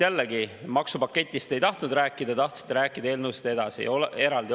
Jällegi, maksupaketist te ei tahtnud rääkida, tahtsite rääkida eelnõudest eraldi.